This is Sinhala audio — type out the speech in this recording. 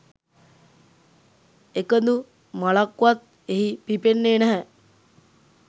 එකදු මලක්වත් එහි පිපෙන්නේ නැහැ.